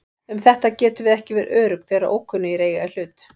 Um þetta getum við ekki verið örugg þegar ókunnugir eiga í hlut.